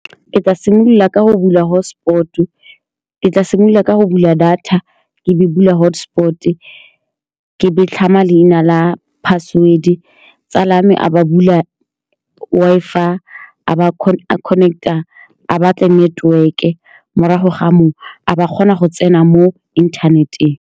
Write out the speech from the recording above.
Ke tla simolola ka go bula hotspot-o. Ke tla simolola ka go bula data, ke be ke bula hotspot-e, ke tlhama leina la password-e. Tsala ya me a ba bula Wi-Fi, a ba a batle connect-a network-e, a morago ga moo, ba kgona go tsena mo inthaneteng.